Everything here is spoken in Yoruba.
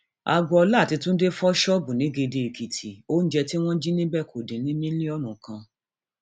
agboola àti túnde fọ ṣọọbù nìgédéèkìtì oúnjẹ tí oúnjẹ tí wọn jí níbẹ kò dín ní mílíọnù kan